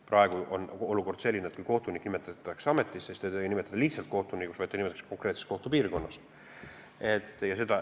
Praegu on olukord selline, et kui kohtunik nimetatakse ametisse, siis teda ei nimetata lihtsalt kohtunikuks, vaid ta nimetatakse konkreetsesse kohtupiirkonda.